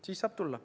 Siis saab tulla.